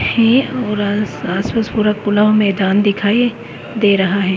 है और आस पास पूरा खुला हुआ मैदान दिखाई दे रहा है।